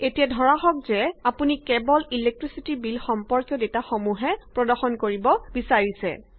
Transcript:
এতিয়া ধৰা হওক যে আপুনি কেৱল ইলেক্ট্ৰিচিটি বিল সম্পৰ্কীয় ডেটাসমূহহে প্ৰদৰ্শন কৰিব বিচাৰিছে